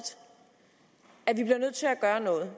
at vi bliver nødt til at gøre noget